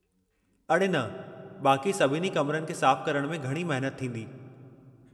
अड़े न, बाक़ी सभिनी कमरनि खे साफ़ करण में घणी महनत थींदी।